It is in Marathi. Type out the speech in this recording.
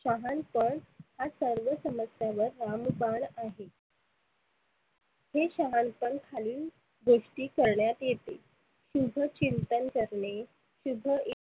शहानपण हा सर्व समस्यांवर रामबाण आहे. शहाणपण खालील गोष्टी करण्यात येते. शुभ चिंतन करणे, शुभ